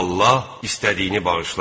Allah istədiyini bağışlar.